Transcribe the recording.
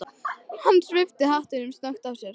Hann svipti hattinum snöggt af sér.